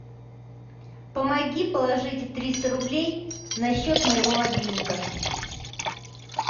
помоги положить триста рублей на счет моего мобильника